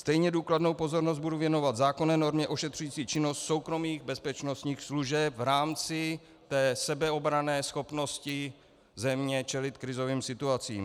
Stejně důkladnou pozornost budu věnovat zákonné normě ošetřující činnost soukromých bezpečnostních služeb v rámci té sebeobranné schopnosti země čelit krizovým situacím.